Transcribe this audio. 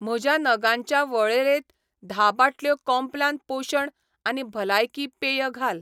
म्हज्या नगांच्या वळेरेंत धा बाटल्यो कॉम्प्लान पोशण आनी भलायकी पेय घाल.